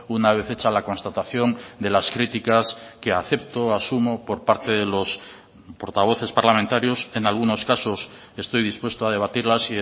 una vez hecha la constatación de las críticas que acepto asumo por parte de los portavoces parlamentarios en algunos casos estoy dispuesto a debatirlas